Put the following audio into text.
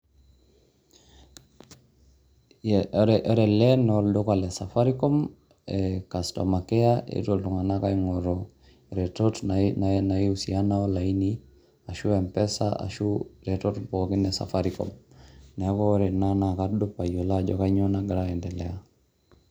Ore ele naa olduka le safaricom e customer care, eetuo iltung'anak aing'oru iretetot naiusiana olaini, ashu mpesa, ashu retot pookin e safaricom. Neeku ore ena kadup alimu ajo kanyo nagira aiendelea.